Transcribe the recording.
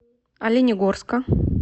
оленегорска